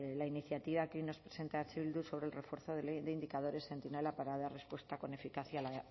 la iniciativa que hoy nos presenta eh bildu sobre el refuerzo de indicadores centinela para dar respuesta con eficacia la